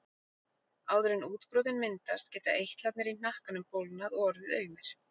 Áður en útbrotin myndast geta eitlarnir í hnakkanum bólgnað og orðið aumir.